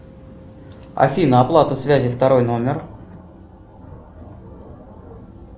афина оплата связи второй номер